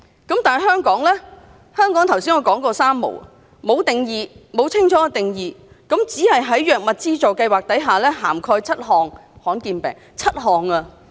反觀香港，我剛才說香港是"三無"，沒有定義，沒有清楚的定義，只是在藥物資助計劃下，涵蓋7種罕見病。